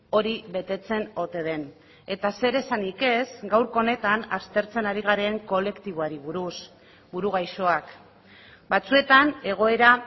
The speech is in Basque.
hori betetzen ote den eta zer esanik ez gaurko honetan aztertzen ari garen kolektiboari buruz buru gaixoak batzuetan egoera